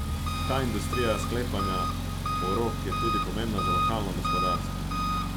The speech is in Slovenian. Ta industrija sklepanja porok je tudi pomembna za lokalno gospodarstvo.